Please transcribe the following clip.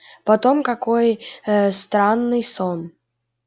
потом какой ээ странный сон